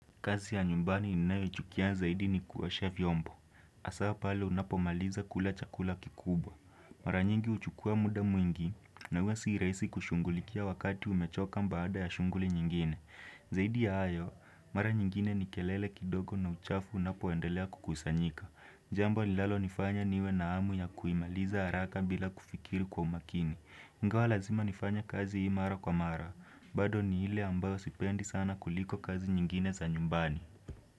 Kazi ya nyumbani ninayo ichukia zaidi ni kuosha vyombo hasa pale unapomaliza kula chakula kikubwa mara nyingi huchukua muda mwingi na huwa si rahisi kushungulikia wakati umechoka baada ya shunguli nyingine zaidi ya hayo mara nyingine ni kelele kidogo na uchafu unapo endelea kukusanyika jambo linalo nifanya niwe na hamu ya kuimaliza haraka bila kufikiri kwa umakini ingawa lazima nifanya kazi hii mara kwa mara bado ni ile ambayo sipendi sana kuliko kazi nyingine za nyumbani.